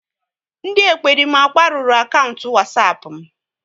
Ndị ekperima kparuru Wasapu akaụntụ m